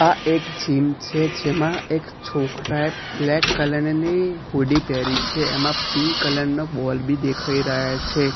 આ એક જીમ છે જેમાં એક છોકરાએ બ્લેક કલર ની હુડી પ્હેરી છે એમાં પિંક કલર નો બૉલ બી દેખાય રહ્યા છે.